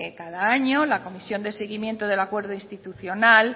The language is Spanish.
cada año la comisión de seguimiento del acuerdo institucional